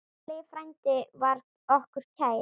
Halli frændi var okkur kær.